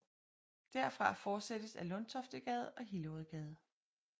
Derfra fortsættes ad Lundtoftegade og Hillerødgade